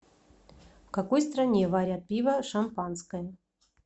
в какой стране варят пиво шампанское